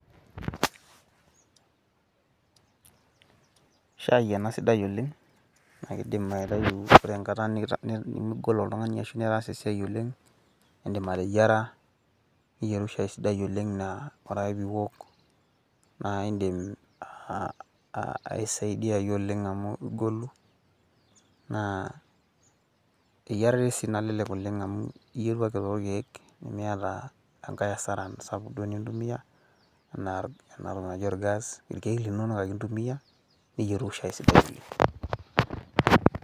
Shaai ena sidai oleng naa kidim aitayu, ore enkata nimogol otung`ani ashu nitaasa esiai oleng naa, idim ateyiara niyieru shai sidai oleng naa ore ake pee iwok naa idim aisaidiyayu oleng amu igolu. Naa eyiarare sii nalelek oleng amu iyieru ake too ilkiek nimiata enkae hasara sapuk duo nintumiya enaa enatki naji ol gas ilkiek linonok ake intumiya niyieru shai sidai oleng.